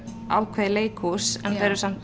ákveðið leikhús en